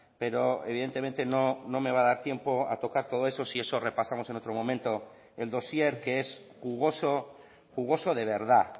pero evidentemente no me va a dar tiempo a tocar todo eso si eso repasamos en otro momento el dosier que es jugoso jugoso de verdad